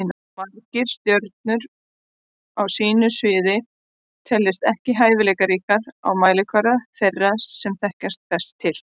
Margir stjörnur á sínu sviði teljast ekki hæfileikaríkar á mælikvarða þeirra sem best þekkja til.